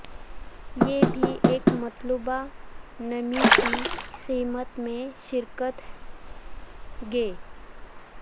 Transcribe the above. یہ بھی ایک مطلوبہ نمی کی قیمت میں شراکت گے